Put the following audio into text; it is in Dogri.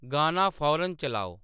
गाना फौरन चलाओ